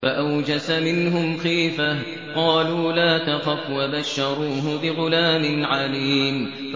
فَأَوْجَسَ مِنْهُمْ خِيفَةً ۖ قَالُوا لَا تَخَفْ ۖ وَبَشَّرُوهُ بِغُلَامٍ عَلِيمٍ